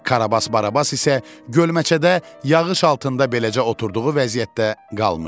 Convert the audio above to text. Karabas Barabas isə gölməçədə yağış altında beləcə oturduğu vəziyyətdə qalmışdı.